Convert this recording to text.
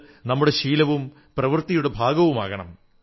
ഇത് നമ്മുടെ ശീലവും പ്രവൃത്തിയുടെ ഭാഗവുമാകണം